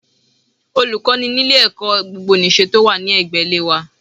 Olùkọ́ ni ní ilé ẹ̀kọ́ gbogbo nìse tí ó wà ní ẹ̀gbẹ́ ilé wa